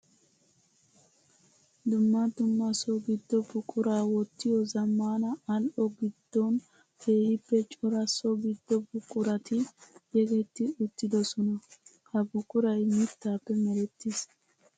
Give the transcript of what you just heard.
Dumma dumma so gido buqura wottiyo zamaana ali'o gidon keehippe cora so gido buquratti yeggetti uttidosonna. Ha buquray mittappe merettis.